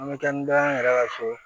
An bɛ kɛ ni dɔ ye an yɛrɛ ka so